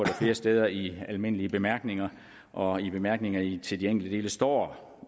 flere steder i almindelige bemærkninger og i bemærkningerne til de enkelte dele står